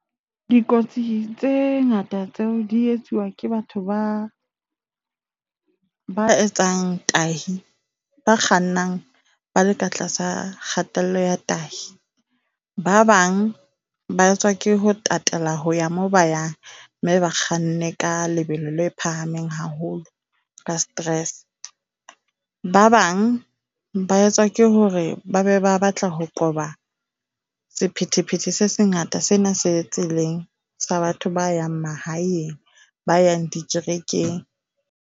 Dikotsi tse ngata tseo di etsuwa ke batho ba ba etsang tahi, ba kgannang ba le ka tlasa kgatello ya tahi. Ba bang ba etswa ke ho tatela ho ya moo ba yang mme ba kganne ka lebelo le phahameng haholo ka stress. Ba bang ba etswa ke hore ba be ba batla ho qoba sephethephethe se sengata sena se tseleng sa batho ba yang mahaeng ba yang dikerekeng.